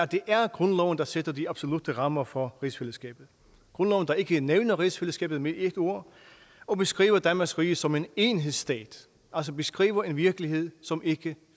det er grundloven der sætter de absolutte rammer for rigsfællesskabet grundloven der ikke nævner rigsfællesskabet med et ord og beskriver danmarks rige som en enhedsstat altså beskriver en virkelighed som ikke